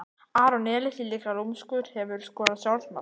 aron elís er líka lúmskur Hefurðu skorað sjálfsmark?